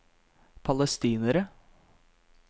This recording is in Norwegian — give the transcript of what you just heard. palestinere